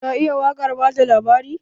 Ka iya waƙar bada labari?